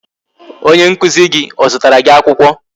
Onye nkụzi gị o zụtara gị akwụkwọ?